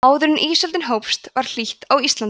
áður en ísöldin hófst var hlýtt á íslandi